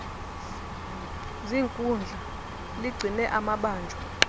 ziinkundla ligcine amabanjwa